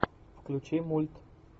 включи мульт